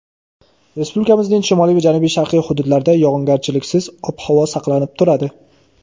Respublikamizning shimoliy va janubi-sharqiy hududlarida yog‘ingarchiliksiz ob-havo saqlanib turadi.